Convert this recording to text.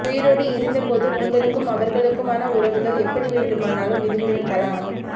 உயிரோடு இருந்த போது உங்களுக்கும் அவர்களுக்குமான உறவுகள் எப்படி வேண்டுமானாலும் இருந்திருக்கலாம்